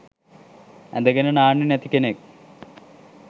ඇදගෙන නාන්නෙ නැති කෙනෙක්.